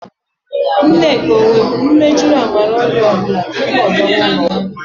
Nneka o nweburu mjiri amara ọrịa ọbụla tupu ọ ga ụlọọgwọ?